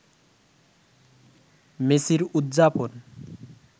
মেসির উদযাপন